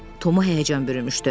Tomu həyəcan bürümüşdü.